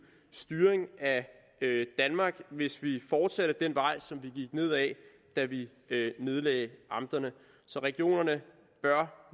styring af danmark hvis vi fortsætter ad den vej som vi gik ned ad da vi nedlagde amterne regionerne bør